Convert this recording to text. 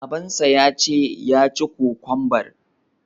Babansa ya ce ya ci kokwambar!